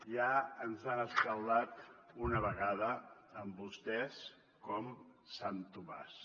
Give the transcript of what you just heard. ja ens hem escaldat una vegada amb vostès com sant tomàs